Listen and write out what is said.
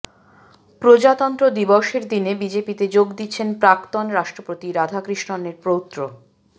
প্রজাতন্ত্র দিবসের দিনে বিজেপিতে যোগ দিচ্ছেন প্রাক্তন রাষ্ট্রপতি রাধাকৃষ্ণনের পৌত্র